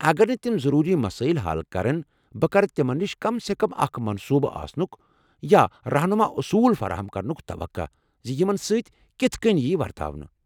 اگر نہٕ تم ضروٗری مسٲیل حل كرن ،بہٕ كرٕ تِمن نِش كم سے كم اكھ منصوٗبہٕ آسنُك یا رہنُما اصوٗل فراہم كرنُك توقع زِ یِمن سۭتۍ كِتھہٕ كٕنۍ یی ورتانہٕ ۔